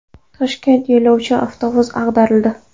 Toshkentda yo‘lovchi avtobus ag‘darildi.